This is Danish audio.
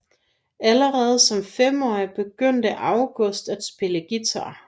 Allerede som femårig begyndte Angus at spille guitar